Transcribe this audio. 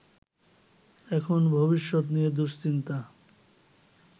এখন ভবিষ্যত নিয়ে দুশ্চিন্তা